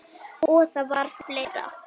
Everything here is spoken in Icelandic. Og það var fleira.